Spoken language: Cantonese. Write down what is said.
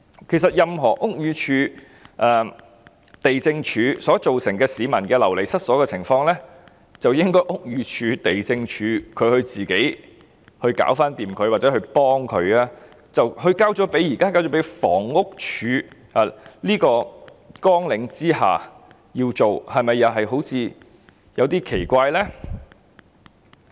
其實屋宇署和地政總署造成任何市民流離失所的情況，應該交由屋宇署和地政總署自行解決，或只協助他們處理的，但現在卻歸入房屋署的綱領4項下，是否有點奇怪呢？